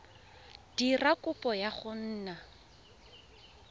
dira kopo ya go nna